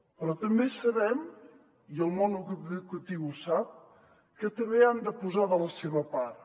però també sabem i el món educatiu ho sap que també hi han de posar de la seva part